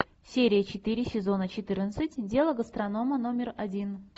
серия четыре сезона четырнадцать дело гастронома номер один